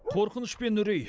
қорқыныш пен үрей